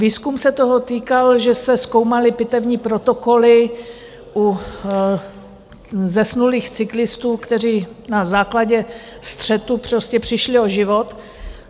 Výzkum se týkal toho, že se zkoumaly pitevní protokoly u zesnulých cyklistů, kteří na základě střetu prostě přišli o život.